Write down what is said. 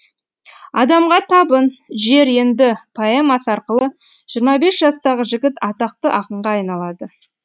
адамға табын жер енді поэмасы арқылы жиырма бес жастағы жігіт атақты ақынға айналады